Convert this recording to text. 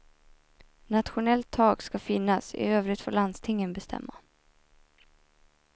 Nationellt tak ska finnas, i övrigt får landstingen bestämma.